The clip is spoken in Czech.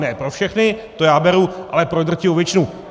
Ne pro všechny, to já beru, ale pro drtivou většinu.